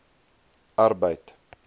arbeid